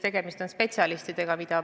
Tegemist on spetsialistidega.